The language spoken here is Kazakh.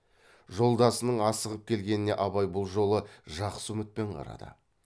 жолдасының асығып келгеніне абай бұл жолы жақсы үмітпен қарады